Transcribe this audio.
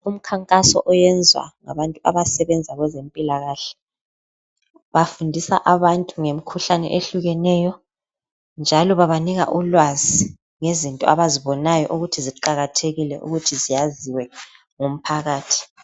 Umkhankaso oyenzwa ngabantu abasebenza kwezempilakahle. Bafundisa abantu ngemikhuhlane ehlukeneyo njalo babanika ulwazi ngezinto abazibonayo ukuthi ziqakathekile